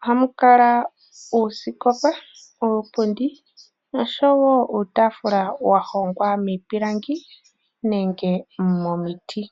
ohamu kala oosikopa, iipundi nosho wo uutaafula wa hongwa miipilangi nenge momiti.